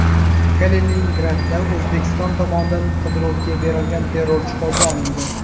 Kaliningradda O‘zbekiston tomonidan qidiruvga berilgan terrorchi qo‘lga olindi.